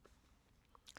DR1